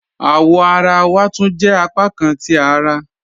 Awọ̀ àrà wà túń jẹ́ apákàn ti àrà